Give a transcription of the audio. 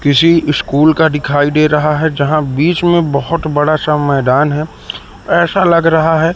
किसी स्कूल का दिखाई दे रहा है। जहां बीच में बहुत बड़ा सा मैदान है। ऐसा लग रहा है--